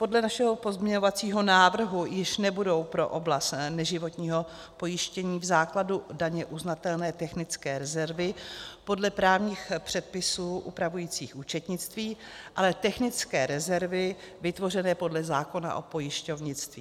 Podle našeho pozměňovacího návrhu již nebudou pro oblast neživotního pojištění v základu daně uznatelné technické rezervy podle právních předpisů upravujících účetnictví, ale technické rezervy vytvořené podle zákona o pojišťovnictví.